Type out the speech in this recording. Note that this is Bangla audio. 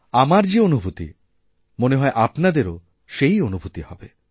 আমার যেঅনুভূতি মনে হয় আপনাদেরও সেই অনুভূতি হবে